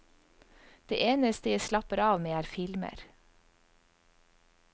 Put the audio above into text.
Det eneste jeg slapper av med, er filmer.